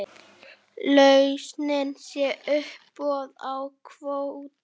Lausnin sé uppboð á kvóta.